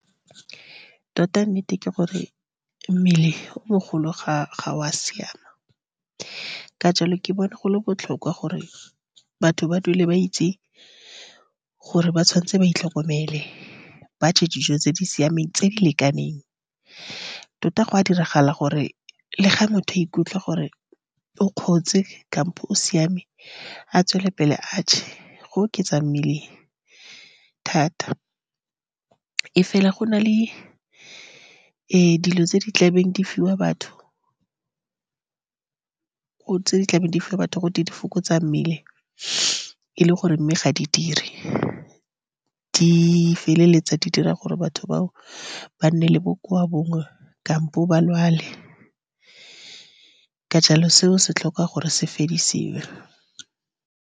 Tota, nnete ke gore mmele o mogolo ga o a siama. Ka jalo, ke bona go le botlhokwa gore batho ba dule ba itse gore ba tshwanetse ba itlhokomele, ba je dijo tse di siameng, tse di lekaneng. Tota, go a diragala gore le fa motho a ikutlwe gore o kgotse, kampo o siame, a tswele pele a je go oketsa mmele thata. Mme fela, go na le dilo tse di tlabeng di fiwa batho, go tse di tlabeng di fiwa batho gotwe di fokotsa mmele. E le gore mme ga di dire, di feleletsa di dira gore batho bao ba nne le bokowa bongwe kampo ba lwale. Ka jalo, seo se tlhoka gore se fedisiwe.